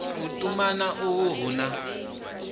u tumana uhu hu na